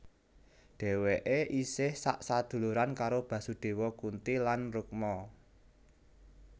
Dhèwèké isih sak saduluran karo Basudewa Kunti lan Rukma